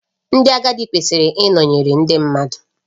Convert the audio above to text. Ndị agadi kwesịrị ịnọnyere ndị mmadụ